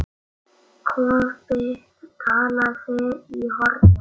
Kobbi talaði í hornið.